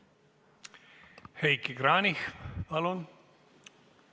Heiki Kranich, palun!